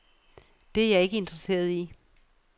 Det er jeg ikke interesseret i.